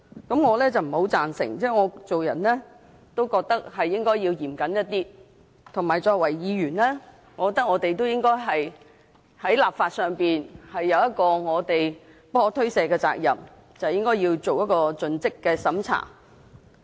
對此，我是不太贊成的，因為我認為做人應該嚴謹一些，以及作為議員，我認為我們在立法上是有不可推卸的責任，應該對《條例草案》進行盡職審查。